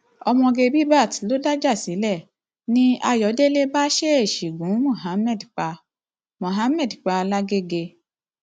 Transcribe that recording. ọmọge bbaat ló dájà sílẹ ni ayọdẹlẹ bá ṣèèṣì gun muhammed pa muhammed pa lágaeègè